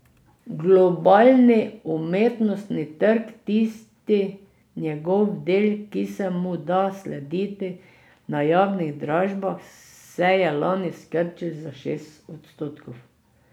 Globalni umetnostni trg, tisti njegov del, ki se mu da slediti na javnih dražbah, se je lani skrčil za šest odstotkov.